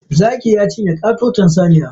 Zakin ya cinye katoton saniya.